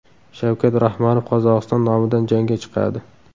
Shavkat Rahmonov Qozog‘iston nomidan jangga chiqadi.